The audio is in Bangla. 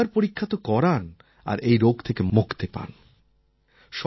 আপনি একবার পরীক্ষা তো করান আর এই রোগ থেকে মুক্তি পেতে পারেন